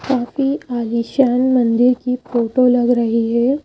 काफी आलीशान मंदिर की फोटो लग रही है।